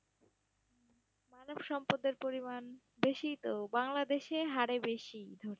মানবসম্পদের পরিমাণ বেশিই তো, বাংলাদেশের হারে বেশিই ধরতে